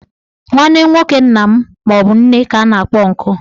Nwanne nwoke nna maọbụ nne ka a na-akpọ ọnkụ.